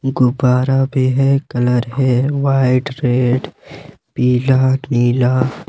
गुब्बारा भी है कलर है व्हाइट रेड पीला नीला।